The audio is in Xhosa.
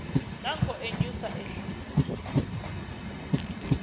nanko enyusa ehlisa